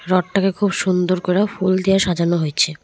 রথটাকে খুব সুন্দর কইরা ফুল দিয়া সাজানো হইছে।